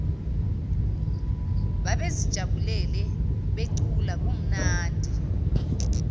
babezijabulele becula kumnandi